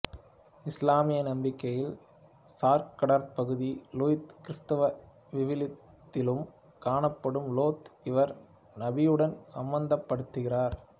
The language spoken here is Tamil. இசுலாமிய நம்பிக்கையில் சாக்கடற் பகுதி லூத் கிறிஸ்தவ விவிலியத்திலும் காணப்படும் லோத்து இவர் நபியுடனும் சம்பந்தப் படுத்தப்படுகிறார்